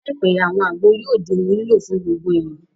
Láìpẹ́, àwọn àgbo yóò di ohun lílò fún gbogbo èèyàn